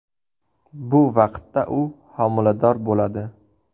Bu vaqtda u homilador bo‘ladi.